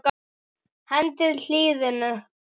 Hendið hýðinu.